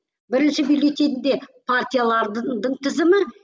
бірінші бюллетеньде партиялардың тізімі